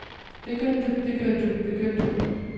begyndte begyndte begyndte